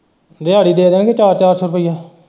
ਦਿਹਾੜੀ ਦੇ ਦਾਂਗੇ ਚਾਰ ਚਾਰ ਸੋ ਰੁਪਇਆ।